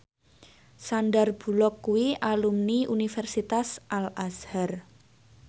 Sandar Bullock kuwi alumni Universitas Al Azhar